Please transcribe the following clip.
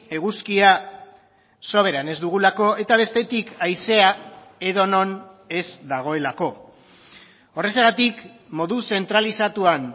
eguzkia soberan ez dugulako eta bestetik haizea edonon ez dagoelako horrexegatik modu zentralizatuan